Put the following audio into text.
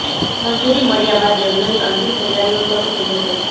મંજૂરી મળ્યા બાદ યજ્ઞની અંતિમ તૈયારીઓ શરૂ થઈ જશે